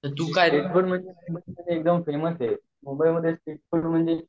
तू काय रेस्टोरेंट एकदम फेमस हाये मुंबई मध्ये स्ट्रीट फूड म्हणजे